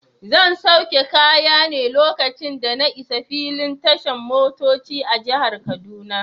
Zan sauke kaya ne lokacin da na isa filin tashan motoci a jihar kaduna.